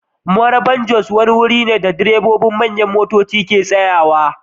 Marabar-Jos wani wuri ne da direbobin manyan motoci ke tsayawa.